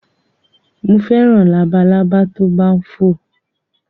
Mo fẹ́ràn labalábá tó bá ń fò.